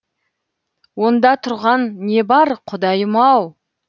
онда тұрған не бар құдайым ау